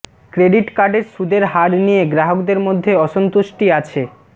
credit কার্ডের সুদের হার নিয়ে গ্রাহকদের মধ্যে অসন্তুষ্টি আছে